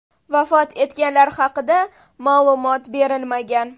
Vafot etganlar haqida ma’lumot berilmagan.